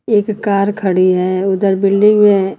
एक कार खड़ी है उधर बिल्डिंग है।